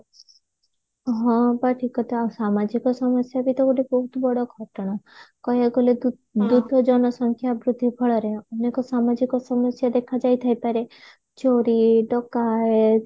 ହଁ ବା ଠିକ କଥା ଆଉ ସାମାଜିକ ସମସ୍ୟାବି ତ ଗୋଟେ ବହୁତ ବଡ ଘଟଣା କହିବାକୁ ଗଲେ ଦୁ ଦ୍ରୁତ ଜନସଂଖ୍ୟା ବୃଦ୍ଧି ଫଳରେ ଅନେକ ସାମାଜିକ ସମସ୍ୟା ଦେଖାଯାଇଥାଇ ପାରେ ଚୋରୀ ଡକାୟତ